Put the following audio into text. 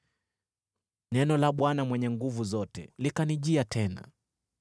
Neno la Bwana Mwenye Nguvu Zote likanijia tena.